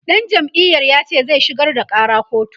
ɗan jam'iyar yace zai shigar da ƙara kotu